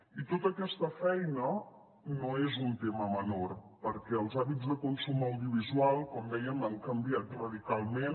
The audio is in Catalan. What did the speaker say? i tota aquesta feina no és un tema menor perquè els hàbits de consum audiovisual com dèiem han canviat radicalment